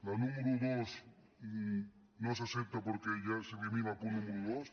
la número dos no s’accepta perquè ja s’elimina el punt número dos